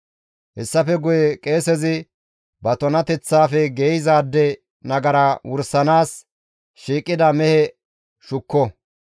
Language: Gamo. «Hessafe guye qeesezi ba tunateththafe geeyzaade nagara wursanaas shiiqida mehe shukko.